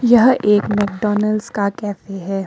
यह एक मैकडॉनल्ड्स का कैफे है।